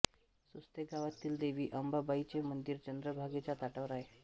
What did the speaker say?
सुस्ते गावातील देवी अंबाबाईचे मंदिर चंद्रभागेच्या तटावर आहे